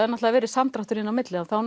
náttúrulega verið samdráttur inn á milli og þá